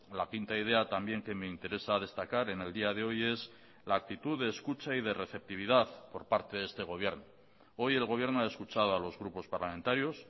la quinta idea también que me interesa destacar en el día de hoy es la actitud de escucha y de receptividad por parte de este gobierno hoy el gobierno ha escuchado a los grupos parlamentarios